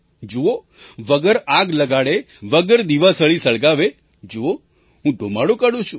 જુઓ વગર આગ લગાડે વગર દીવાસળી સળગાવે જુઓ હું ધૂમાડો કાઢું છું